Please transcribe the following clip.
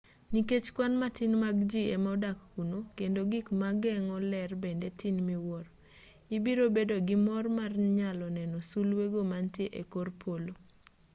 nikech kwan matin mag ji ema odak kuno kendo gik mageng'o ler bende tin miwuoro ibiro bedo gi mor mar nyalo neno sulwego manitie e kor polo